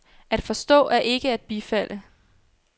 At forstå er ikke at bifalde.